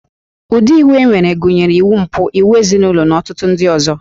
Ụdị iwu e nwere gụnyere iwu mpụ, iwu ezinụlọ na ọtụtụ ndị ọzọ